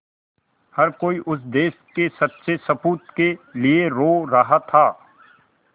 हर कोई उस देश के सच्चे सपूत के लिए रो रहा था